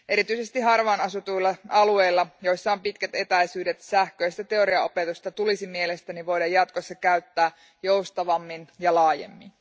Erityisesti harvaan asutuilla alueilla, joissa on pitkät etäisyydet, sähköistä teoriaopetusta tulisi mielestäni voida jatkossa käyttää joustavammin ja laajemmin.